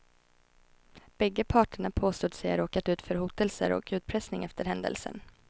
Bägge parterna påstod sig ha råkat ut för hotelser och utpressning efter händelsen.